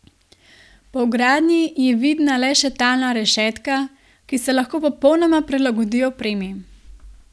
Po vgradnji je vidna le še talna rešetka, ki se lahko popolnoma prilagodi opremi.